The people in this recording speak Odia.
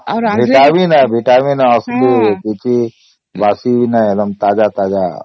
vitamin ଅସଲି କିଛି ବାସି ନାହିଁ ଏକଦମ ତାଜା ତାଜା